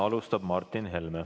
Alustab Martin Helme.